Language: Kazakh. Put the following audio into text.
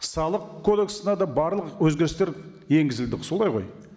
салық кодексіне де барлық өзгерістер енгізілді солай ғой